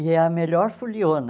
E é a melhor foliona.